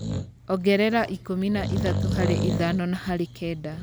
Ongerera ikũmi na ithatũ harĩ ithano na harĩ kenda